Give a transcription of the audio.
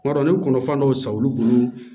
Kuma dɔ la n bɛ kɔnɔfɛn dɔw san olu bolo